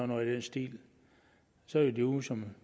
noget i den stil og så er de ude som